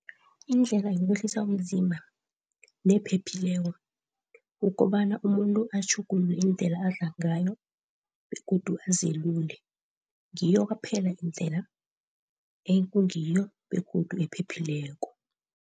Indlela yokwehlisa umzimba nephephileko ukobana umuntu atjhugulule indlela adla ngayo, begodu azilule. Ngiyo kwaphela indlela ekungiyo begodu ephephileko.